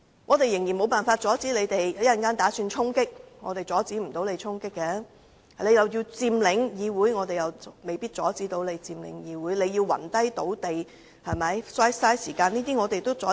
我們無法阻止議員的衝擊行動，而即使他們要佔領議會，我們也未必能夠阻止；他們要暈倒在地上浪費時間，我們同樣無法阻止。